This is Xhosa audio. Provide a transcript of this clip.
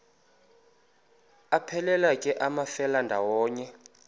aphelela ke amafelandawonye